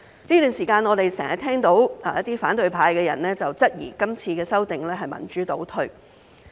這段時間，我們經常聽到一些反對派的人質疑今次的修訂是民主倒退。